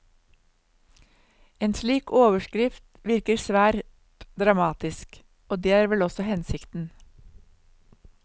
En slik overskrift virker svært dramatisk, og det er vel også hensikten.